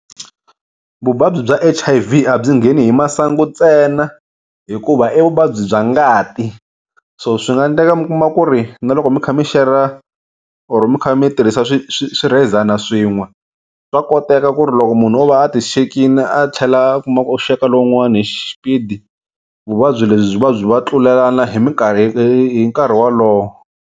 Vuvabyi bya H_I_V a byi ngheni hi masangu ntsena hikuva i vuvabyi bya ngati so swi nga endleka mi kuma ku ri na loko mi kha mi share-ra or mi kha mi tirhisa swi swi swirhezani swin'we swa koteka ku ri loko munhu o va a ti xekini a tlhela a kuma ku u xeka lowun'wani hi xipidi vuvabyi lebyi byi va byi va tlulelana hi minkarhi hi hi nkarhi wolowo.